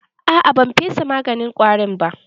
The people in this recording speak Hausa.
A'a, ban fesa maganin ƙwarin ba.